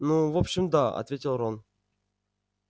ну в общем да ответил рон